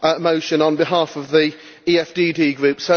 motion on behalf of the EFDD group.